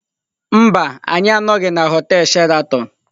Mba, anyị anọghị na họtel Sheraton.